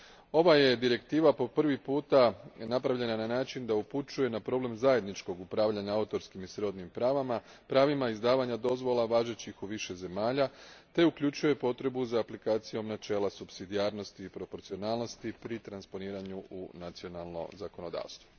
Ova je direktiva po prvi puta napravljena na način da upućuje na problem zajedničkog upravljanja autorskim i srodnim pravima, izdavanja dozvola važećih u više zemalja te uključuje potrebu za aplikacijom načela supsidijarnosti i proporcionalnosti pri transponiranju u nacionalno zakonodavstvo.